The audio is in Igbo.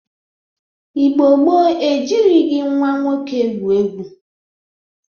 Igbo gboo e jirighi nwa nwoke egwu egwu.